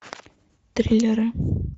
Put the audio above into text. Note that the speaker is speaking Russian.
триллеры